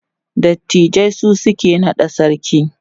dattijai su suke naɗa sarki